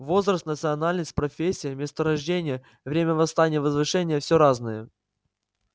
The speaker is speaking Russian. возраст национальность профессия место рождения время восстания и возвышения все разное